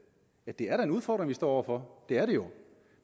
er da en udfordring vi står over for det er det jo